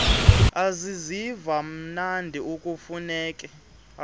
aziziva mnandi akufuneki